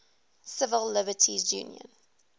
civil liberties union